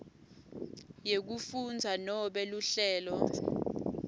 yekufundza nobe luhlelo